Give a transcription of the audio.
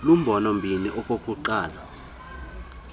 lumbolo mbini okokuqala